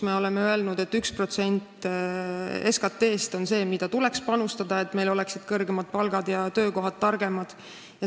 Me oleme öelnud, et 1% SKT-st tuleks panustada, et meil oleksid kõrgemad palgad ja targemad töökohad.